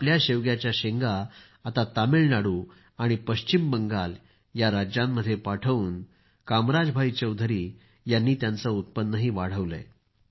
आपल्या शेवग्याच्या शेंगा आता तामिळनाडू आणि पश्चिम बंगाल या राज्यांमध्ये पाठवून त्यांनी उत्पन्न वाढवलंय